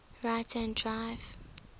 right hand drive